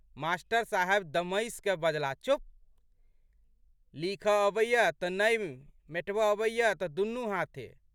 Master साहब दमसिकए बजलाह, चुप्प! लिखऽ अबैए तऽ नहि, मेटबए अबैए तऽ दुनू हाथे।